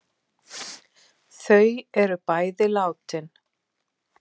Þau eru bæði látin.